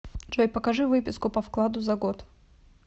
джой покажи выписку по вкладу за год